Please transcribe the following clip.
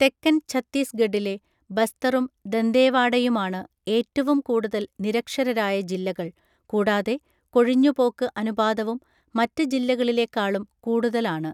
തെക്കൻ ഛത്തീസ്ഗഡിലെ ബസ്തറും ദന്തേവാഡയുമാണ് ഏറ്റവും കൂടുതൽ നിരക്ഷരരായ ജില്ലകൾ, കൂടാതെ കൊഴിഞ്ഞുപോക്ക് അനുപാതവും മറ്റ് ജില്ലകളിലെക്കാളും കൂടുതൽ ആണ്.